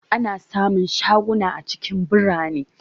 Ana sa mun shaguna a cikin birane